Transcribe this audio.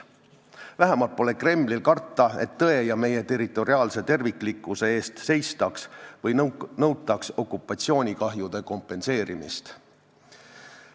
Vähemalt pole Kremlil karta, et tõe ja meie territoriaalse terviklikkuse eest seistaks või nõutaks okupatsioonikahjude kompenseerimist.